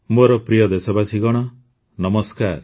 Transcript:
ମୋର ପ୍ରିୟ ଦେଶବାସୀଗଣ ନମସ୍କାର